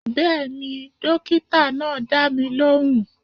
Bẹ́ẹ̀ni, dókítà náà dá mi lóhùn